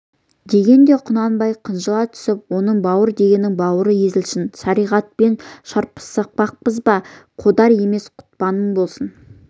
дегенде құнанбай қынжыла түсіп оны бауыр дегеннің бауыры езілсін шариғатпен шарпыспақпыз ба қодар емес құтпаным болсын